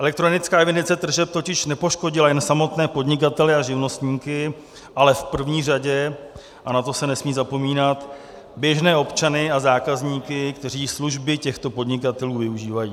Elektronická evidence tržeb totiž nepoškodila jen samotné podnikatele a živnostníky, ale v první řadě - a na to se nesmí zapomínat - běžné občany a zákazníky, kteří služby těchto podnikatelů využívají.